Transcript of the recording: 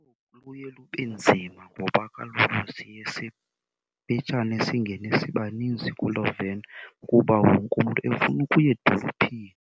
Luye lube nzima ngoba kaloku siye simpitshane, singene sibaninzi kuloo veni kuba wonke umntu efuna ukuya edolophini.